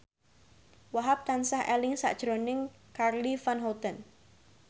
Wahhab tansah eling sakjroning Charly Van Houten